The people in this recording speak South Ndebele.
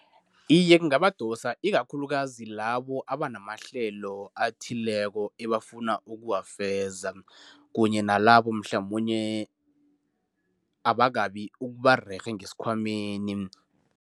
Iye, kungabadosa ikakhulukazi labo abanamahlelo athileko ebafuna ukuwafeza, kunye nalabo mhlamunye abakabi ukuba rerhe ngesikhwameni.